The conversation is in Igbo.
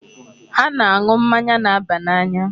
Ha na-aṅụ mmanya na-aba n'anya.